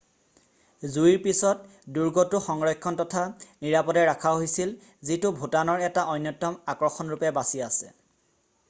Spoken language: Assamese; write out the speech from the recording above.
জুইৰ পিছত দুৰ্গটো সংৰক্ষণ তথা নিৰাপদে ৰাখা হৈছিল যিটো ভুটানৰ এটা অন্যতম আকৰ্ষণ ৰূপে বাছি আছে